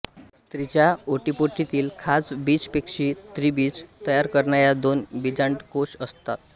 स्त्रीच्या ओटीपोटीत खास बीजपेशी स्त्रीबीज तयार करणाया दोन बीजांडकोष असतात